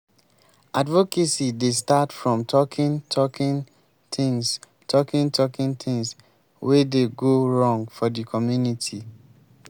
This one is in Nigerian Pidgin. advocacy dey start from talking talking things talking talking things wey dey go wrong for di community